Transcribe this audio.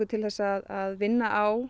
til þess að vinna á